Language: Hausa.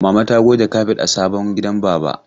Mama ta goge kafet a sabon gidan baba.